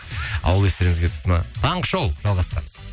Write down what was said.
ауыл естеріңізге түсті ме таңғы шоу жалғастырамыз